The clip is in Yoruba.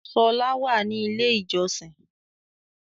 Ṣọlá wà ní ilé ìjọsin.